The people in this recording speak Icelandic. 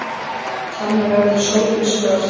Þannig verður sólin svört.